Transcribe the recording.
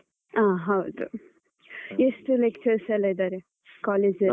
ಆ ಹೌದು . ಎಷ್ಟು lectures ಎಲ್ಲ ಇದ್ದಾರೆ college ಅಲ್ಲಿ?